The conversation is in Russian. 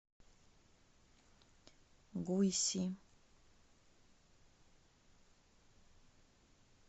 гуйси